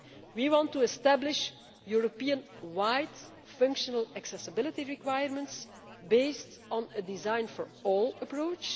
We want to establish Europe wide, functional accessibility requirements based on a design for all approach.